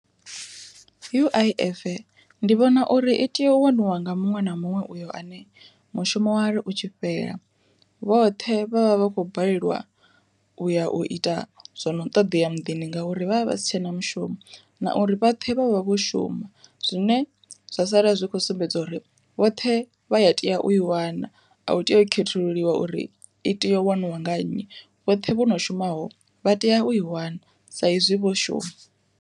U_I_F ndi vhona uri i tea u waniwa nga muṅwe na muṅwe uyo ane mushumo wari u tshi fhela vhoṱhe vha vha vha khou balelwa u ya u ita zwono ṱoḓea muḓini ngauri vha vha vha sitshena mushumo. Na uri vhoṱhe vha vha vho shuma zwine zwa sala zwi kho sumbedza uri vhoṱhe vha ya tea u i wana, a u tei u khethululiwa uri i tea u waniwa nga nnyi vhoṱhe vho no shumaho vha tea u i wana sa izwi vho shuma.